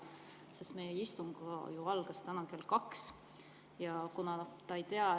Sest meie istung ju algas täna kell 2 ja ta ei tea.